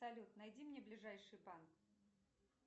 салют найди мне ближайший банк